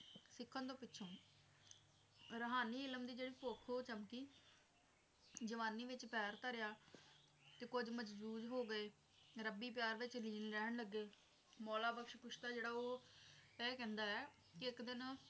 ਰੂਹਾਨੀ ਇਲਮ ਦੀ ਭੁੱਖ ਉਹ ਚਮਕੀ ਜਵਾਨੀ ਵਿੱਚ ਪੈਰ ਧਰਿਆ ਤੇ ਕੁੱਝ ਮਨਸੂਰ ਹੋ ਗਏ ਰੱਬੀ ਪਿਆਰ ਵਿੱਚ ਲੀਨ ਰਹਿਣ ਲੱਗੇ ਮੌਲਾ ਬਖਸ਼ ਕੁਸ਼ਤਾ ਜਿਹੜਾ ਉਹ ਇਹ ਕਹਿੰਦਾ ਐ ਕੇ ਇੱਕ ਦਿਨ